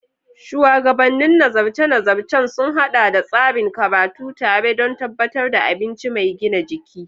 Shuwagabannin nazarce-nazarcen sun haɗa tsarin karatun tare don tabbatar da abinci mai gina jiki.